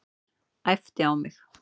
Æpti á mig.